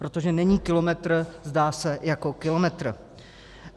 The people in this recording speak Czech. Protože není kilometr, zdá se, jako kilometr.